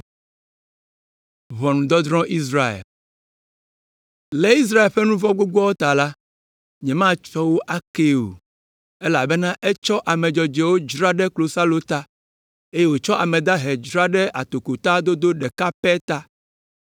“Le Israel ƒe nu vɔ̃ gbogboawo ta la, “Nyematsɔ wo akee o, elabena etsɔ ame dzɔdzɔe dzra ɖe klosalo ta, eye wòtsɔ ame dahe dzra ɖe atokota dodo ɖeka pɛ ta.